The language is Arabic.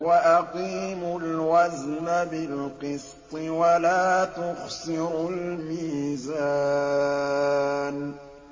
وَأَقِيمُوا الْوَزْنَ بِالْقِسْطِ وَلَا تُخْسِرُوا الْمِيزَانَ